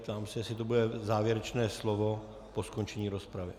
Ptám se, jestli to bude závěrečné slovo po skončení rozpravy?